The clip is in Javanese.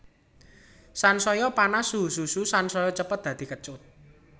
Sansaya panas suhu susu sansaya cepet dadi kecut